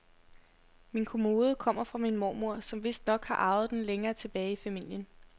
Min kommode kommer fra min mormor, som vistnok har arvet den længere tilbage i familien.